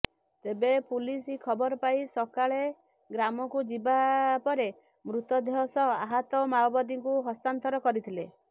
ତେବେ ପୁଲିସ ଖବରପାଇ ସକାଳେ ଗ୍ରାମକୁ ଯିବା ପରେ ମୃତ ଦେହ ସହ ଆହତ ମାଓବାଦୀଙ୍କୁ ହସ୍ତାନ୍ତର କରିଥିଲେ